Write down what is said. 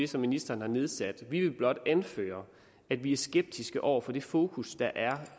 som ministeren har nedsat vi vil blot anføre at vi er skeptiske over for det fokus der er